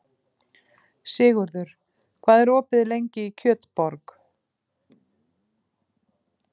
Sigurður, hvað er opið lengi í Kjötborg?